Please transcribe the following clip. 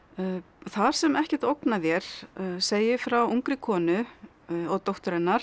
þar sem ekkert ógnar þér segir frá ungri konu og dóttur hennar